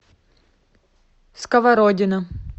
сковородино